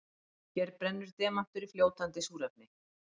Hér brennur demantur í fljótandi súrefni.